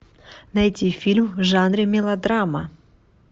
найти фильм в жанре мелодрама